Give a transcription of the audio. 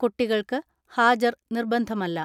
കുട്ടികൾക്ക് ഹാജർ നിർബന്ധമല്ല.